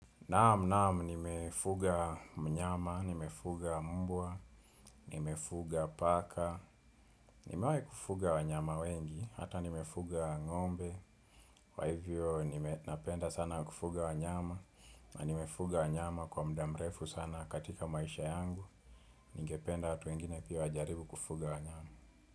Naam naam nimefuga mnyama, nimefuga mbwa, nimefuga paka, nimewai kufuga wanyama wengi, hata nimefuga ngombe, kwa hivyo napenda sana kufuga wanyama, na nimefuga wanyama kwa mdaa mrefu sana katika maisha yangu, nigependa watu wengine pia wajaribu kufuga wanyama.